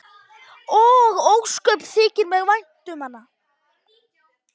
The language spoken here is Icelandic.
Og ósköp þykir mér vænt um hana.